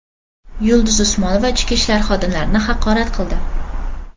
Yulduz Usmonova ichki ishlar xodimlarini haqorat qildi.